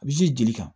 A bɛ ji jeli kan